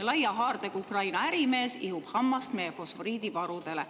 laia haardega Ukraina ärimees ihub hammast meie fosforiidivarudele.